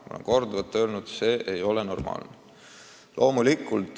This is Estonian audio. Ma olen korduvalt öelnud, et see ei ole normaalne.